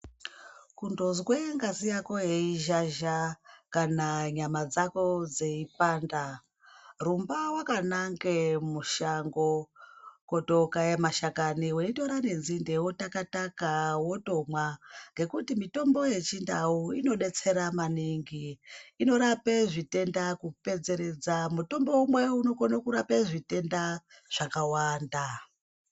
Kundozwe ngazi yako yei zhazha kana nyama dzako dzei panda, rumba wakananga mushango, kotokaya mashakani weitora nenzinde, weitaka taka wondomwa nekuti mitombo yechindau inodetsera maningi, inorapa zvitenda kupedzeredza, mutombo umwe unokona kurapa zvitenda zvakawanda.